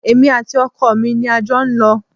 Èmi àti ọkọ mi ni a jọ ń lọ